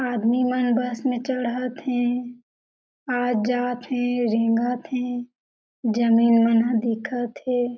आदमी मन बस में चढ़त हे आ जात हे रेंगत हे जमीन मन ह दिखत हे।